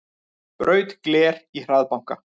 Braut gler í hraðbanka